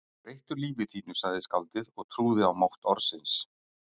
Breyttu lífi þínu sagði skáldið og trúði á mátt orðsins